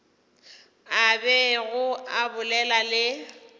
a bego a bolela le